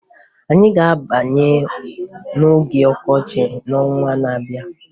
Anyị ga-abanye n'oge ọkọchị n'ọnwa na-abịa